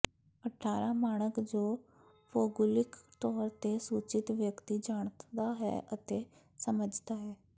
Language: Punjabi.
ਅਠਾਰਾਂ ਮਾਣਕ ਜੋ ਭੂਗੋਲਿਕ ਤੌਰ ਤੇ ਸੂਚਿਤ ਵਿਅਕਤੀ ਜਾਣਦਾ ਹੈ ਅਤੇ ਸਮਝਦਾ ਹੈ